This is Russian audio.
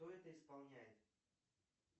кто это исполняет